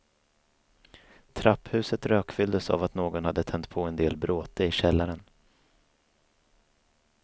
Trapphuset rökfylldes av att någon hade tänt på en del bråte i källaren.